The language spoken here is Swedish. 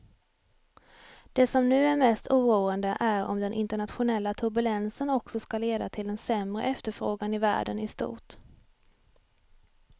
Det som nu är mest oroande är om den internationella turbulensen också ska leda till en sämre efterfrågan i världen i stort.